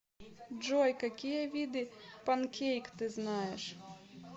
джой какие виды панкейк ты знаешь